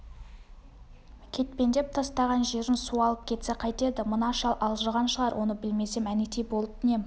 кетпендеп тастаған жерін су алып кетсе қайтеді мына шал алжыған шығар оны білмесем әнетей болып нем